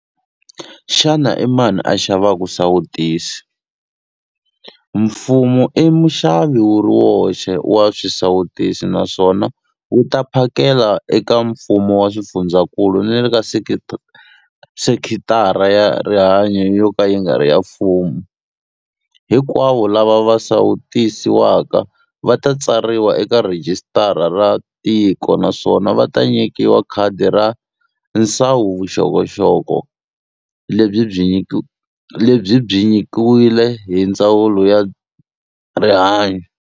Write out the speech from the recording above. Xana i mani a xavaka xisawutisi? Mfumo i muxavi wu ri woxe wa swisawutisi naswona wu ta swi phakela eka mfumo wa swifundzakulu na le ka sekitara ya rihanyu yo ka yi nga ri ya mfumo. Hinkwavo lava va sawutisiwaka va ta tsariwa eka rhijisitara ra tiko naswona va ta nyikiwa khadi ra nsawuvuxokoxoko lebyi byi nyikiwile hi Ndzawulo ya Rihanyu.